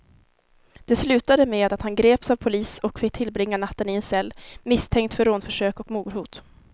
Det slutade med att han greps av polis och fick tillbringa natten i en cell, misstänkt för rånförsök och mordhot.